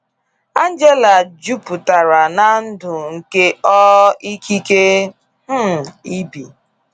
Angela juputara na ndụ nke ọ ikike um ibi.